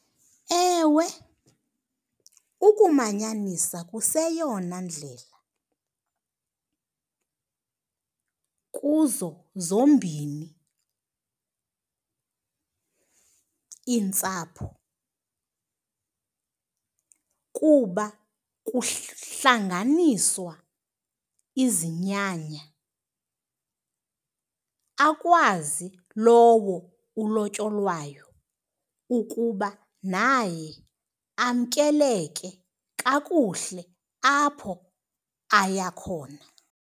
Ewe, ukumanyanisa kuseyeyona ndlela kuzo zombini iintsapho kuba kuhlanganiswa izinyanya, akwazi lowo ulotyolwayo ukuba naye amkeleke kakuhle apho aya khona.